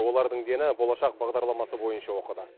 олардың дені болашақ бағдарламасы бойынша оқыды